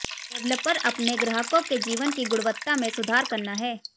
developer अपने ग्राहकों के जीवन की गुणवत्ता में सुधार करना है